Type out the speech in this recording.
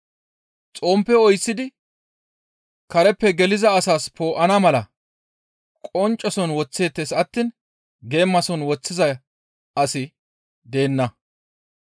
«Xomppe oyththidi kareppe geliza asas poo7ana mala qoncceson woththeettes attiin geemason woththiza asi deenna.